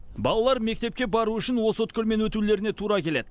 балалар мектепке бару үшін осы өткелмен өтулеріне тура келеді